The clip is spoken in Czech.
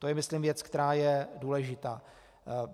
To je myslím věc, která je důležitá.